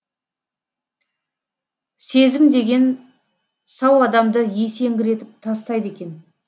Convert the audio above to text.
сезім деген сау адамды есеңгіретіп тастайды екен